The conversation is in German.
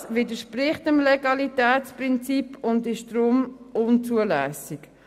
Das widerspricht dem Legalitätsprinzip und ist deshalb unzulässig.